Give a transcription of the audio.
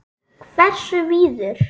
Hversu víður?